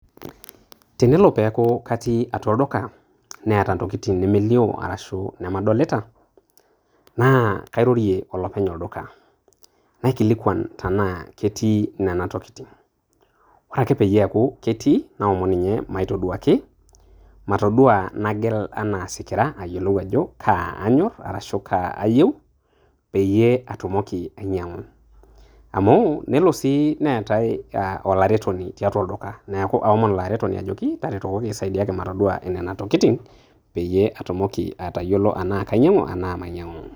Tenelo peeku katii atua olduka neeta intokitin nemelio arashu namadolita naa kairorie olopeny' olduka naikilikuan tenaa ketii nena tokitin, ore ake peyie eeku etii naomon ninye maitoduaki, matoduaa nagel enaa isikirra ayilou ajo kaa aany'orr arashu kaa ayieu peyie atumoki ainy'iang'u. Amu nelo sii neetai aa olaretoni tiatua olduka, neeku aomon ilo aretoni ajoki taretokoki saidiaki matoduaa nena tokitin peyie atumoki atayiolo enaa kainy'iang'u enaa mainy'iang'u.